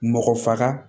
Mɔgɔ faga